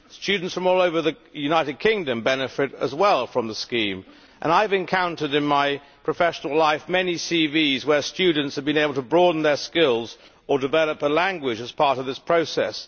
Students from all over the United Kingdom benefit as well from the scheme, and I have encountered in my professional life many CVs where students have been able to broaden their skills or develop a language as part of this process.